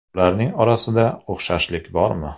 Ularning orasida o‘xshashlik bormi?